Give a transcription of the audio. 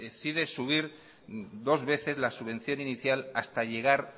decide subir dos veces la subvención inicial hasta llegar